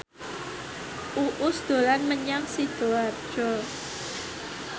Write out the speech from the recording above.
Uus dolan menyang Sidoarjo